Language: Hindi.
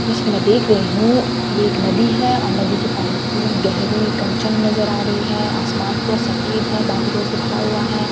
जैसा की मैं देख रही हूँ ये एक नदी है और नदी की पानी पूरी गहरी कंचन नज़र आ रही है आसमान पूरा सफ़ेद है बादलों से भरा हुआ है पहाड़ --